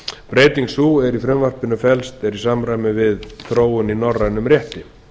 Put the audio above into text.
breyting sú er í frumvarpinu felst er í samræmi við þróun í norrænum rétti